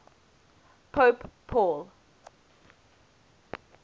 pope paul